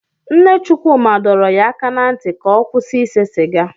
Nne Chukwuma dọrọ ya aka ná ntị ka ọ kwụsị ise siga.